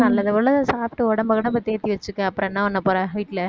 அதான் நல்லது சாப்பிட்டு உடம்பை கிடம்பை தேத்தி வச்சுக்க அப்புறம் என்ன பண்ண போற வீட்ல